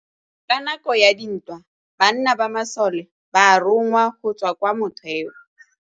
Ka nakô ya dintwa banna ba masole ba rongwa go tswa kwa mothêô.